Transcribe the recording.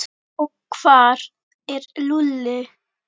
Og hvar er Lúlli?